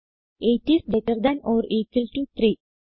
8 is greater than or equal to 3